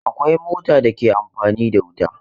Akwai mota da take amfani da wuta.